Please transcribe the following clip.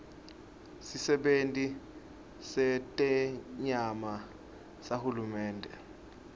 sisebenti setenyama sahulumende